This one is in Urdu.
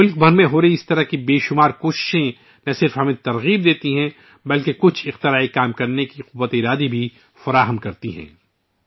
ملک بھر میں ہونے والی ایسی بہت سی کوششیں نہ صرف ہمیں حوصلہ دیتی ہیں بلکہ کچھ نیا کرنے کا حوصلہ بھی دیتی ہیں